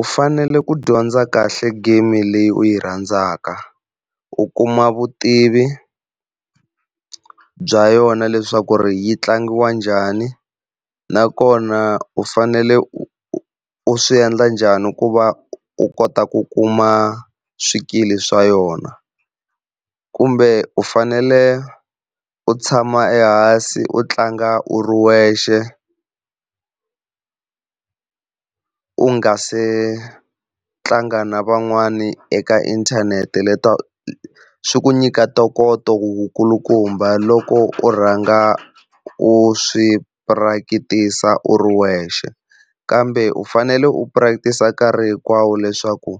U fanele ku dyondza kahle game leyi u yi rhandzaka, u kuma vutivi bya yona leswaku yi tlangiwa njhani, nakona u fanele u, u swi endla njhani ku va u kota ku kuma swikili swa yona. Kumbe u fanele u tshama ehansi u tlanga u ri wexe u nga se tlanga na van'wana eka inthanete le ta swi ku nyika ntokoto wu kulukumba loko u rhanga u swi practice u ri wexe, kambe u fanele u practice nkarhi hinkwawo leswaku